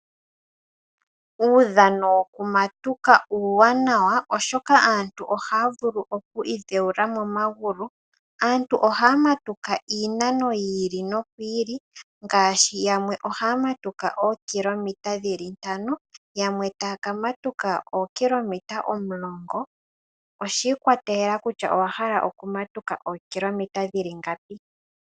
Uudhano wokumatuka uuwanawa, oshoka aantu oha ya vulu oku idhewula momagulu. Aantu oha ya matuka iinanono yi ili no yi ili ngaashi; yamwe oha ya matuka ookilometa ntano, yamwe ta ya ka matuka ookilometa omulongo. Oshi ikwateleka kutya owa hala okumatuka ookilometa dhi li ngapi.